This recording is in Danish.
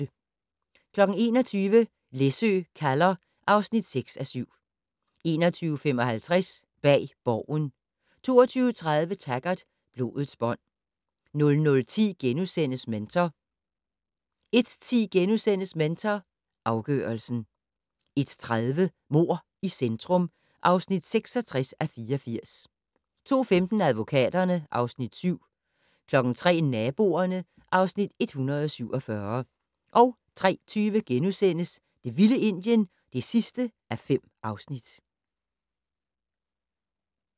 21:00: Læsø kalder (6:7) 21:55: Bag Borgen 22:30: Taggart: Blodets bånd 00:10: Mentor * 01:10: Mentor afgørelsen * 01:30: Mord i centrum (66:84) 02:15: Advokaterne (Afs. 7) 03:00: Naboerne (Afs. 147) 03:20: Det vilde Indien (5:5)*